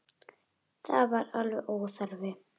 Það var alveg óþarfi.